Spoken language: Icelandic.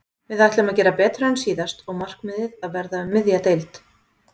Við ætlum að gera betur en síðast og markmiðið að verða um miðja deild.